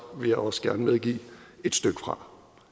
vil jeg også gerne medgive et stykke fra